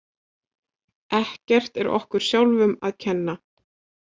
Ekkert er okkur sjálfum að kenna.